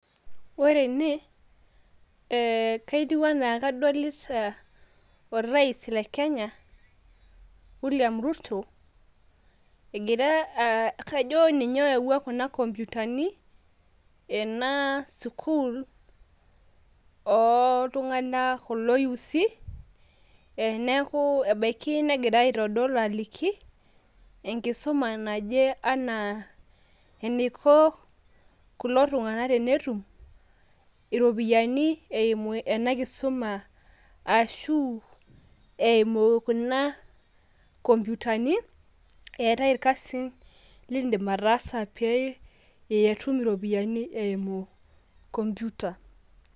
ore ene etiu anaa kadolita ana orais le Kenya, William Ruto egira kajo ninye oyawua kuna komputani ena ooltunganak kula yuusi neaku ebaiki negira aitodol aliki enkisuma naje anaa eniko kulo tunganak tenetum iropiyiani eimu ena kisuma ashu eimu kuna komputani .eetae irkasin lildim ataasa pe itum iropiyiani eimu computer.